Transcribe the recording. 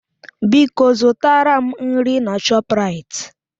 Biko zụtara m nri na Shọpraịt